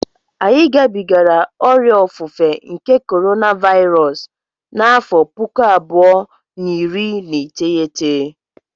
Anyị gabigara ọrịa ofufe nke korona Vairọs n'afọ pụkụ abụọ na iri na iteghete